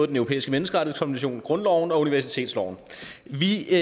den europæiske menneskerettighedskonvention grundloven og universitetsloven vi